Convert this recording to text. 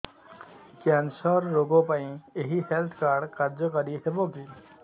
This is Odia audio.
କ୍ୟାନ୍ସର ରୋଗ ପାଇଁ ଏଇ ହେଲ୍ଥ କାର୍ଡ କାର୍ଯ୍ୟକାରି ହେବ କି